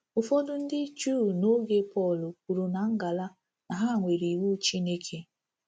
Ụfọdụ ndị Juu n'oge Pọl kwuru na ngala na ha nwere Iwu Chineke.